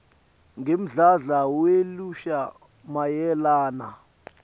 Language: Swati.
ngemdlandla welusha mayelana